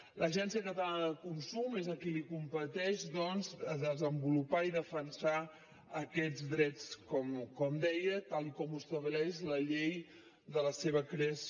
l’agència catalana de consum és a qui li competeix doncs desenvolupar i defensar aquests drets com deia tal com ho estableix la llei de la seva creació